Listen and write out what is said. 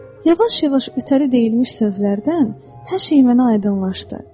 Yavaş-yavaş ötəri deyilmiş sözlərdən hər şey mənə aydınlaşdı.